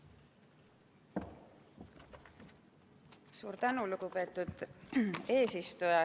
Suur tänu, lugupeetud eesistuja!